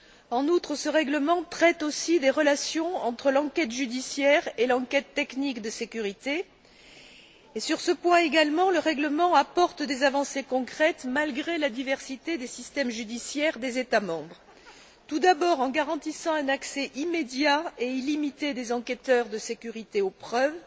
En outre, ce règlement traite aussi des relations entre l'enquête judiciaire et l'enquête technique de sécurité et, sur ce point également, le règlement apporte des avancées concrètes, malgré la diversité des systèmes judiciaires des États membres, tout d'abord en garantissant un accès immédiat et illimité des enquêteurs de sécurité aux preuves,